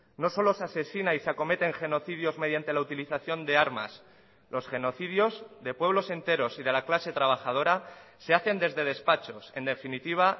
no solo se asesina y se acometen genocidios mediante la utilización de armas los genocidios de pueblos enteros y de la clase trabajadora se hacen desde despachos en definitiva